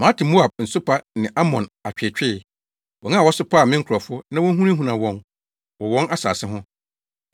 “Mate Moab nsopa ne Amonfo atweetwee; wɔn a wɔsopaa me nkurɔfo na wohunahunaa wɔn wɔ wɔn asase ho.